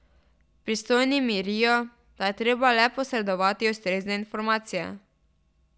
Pristojni mirijo, da je treba le posredovati ustrezne informacije.